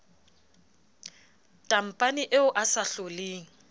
tampane eo a sa hloleng